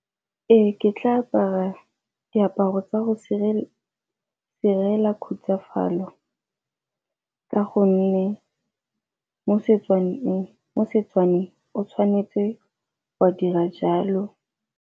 Ee, ke tla apara diaparo tsa go direla khutsafalo ka gonne mo Setswaneng o tshwanetse wa dira jalo.